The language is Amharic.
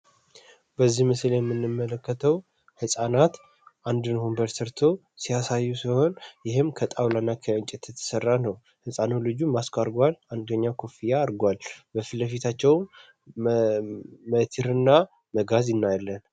በዚህ ምስል የምንመለከተው ሕፃናት አንድን ወንበር ስርቶ ሲያሳይ ሲሆን ይህም ከጣውላና ከእንጭ የተተሠራ ነው ሕፃኖ ልጁ ማስከርጓል አንገኛ ኮፍያ አርጓል በፊት ለፊታቸውም ሜቲርና መጋዝ ይናይለን።